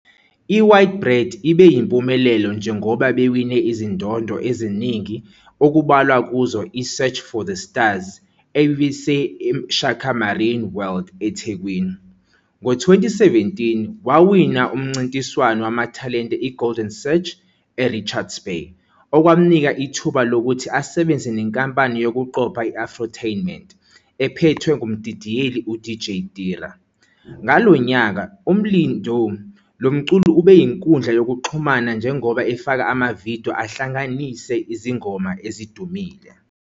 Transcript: I-White Bread ibe yimpumelelo njengoba bewine izindondo eziningi, okubalwa kuzo i- "Search for the Stars", ebiseShaka Marine World, eThekwini. Ngo-2017, wawina umncintiswano wamathalente "iGolden Search" eRichards Bay, okwamnika ithuba lokuthi asebenze nenkampani yokuqopha i-Afrotainment, ephethwe ngumdidiyeli uDJ Tira. Ngalo nyaka, uMlindo lo mculi ubeyinkundla yokuxhumana njengoba efake ama-video ahlanganisa izingoma ezidumile.